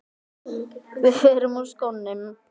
Við förum úr skónum.